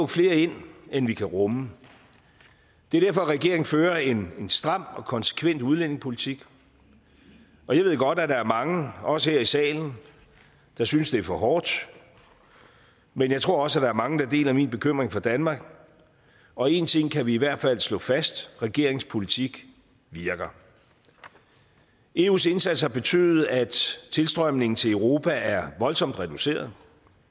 flere ind end vi kan rumme det er derfor at regeringen fører en en stram og konsekvent udlændingepolitik jeg ved godt at der er mange også her i salen der synes det er for hårdt men jeg tror også at der er mange der deler min bekymring for danmark og en ting kan vi i hvert fald slå fast regeringens politik virker eus indsats har betydet at tilstrømningen til europa er voldsomt reduceret